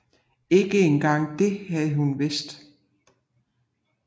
Ikke engang det havde hun vidst